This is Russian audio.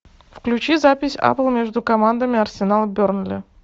включи запись апл между командами арсенал бернли